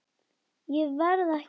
Ég verð ekki þar.